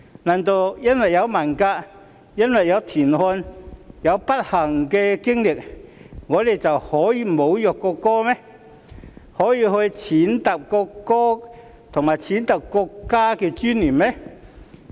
難道因為文革、因為田漢的不幸經歷，我們便可以侮辱國歌、踐踏國歌及國家的尊嚴嗎？